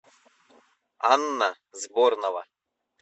анна сборнова